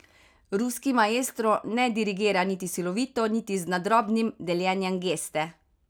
Ruski maestro ne dirigira niti silovito niti z nadrobnim deljenjem geste.